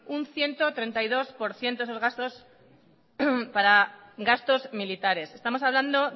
un ciento treinta y dos por ciento es el gasto para gastos militares estamos hablando